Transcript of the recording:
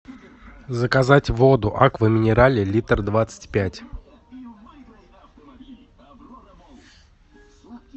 заказать воду аква минерале литр двадцать пять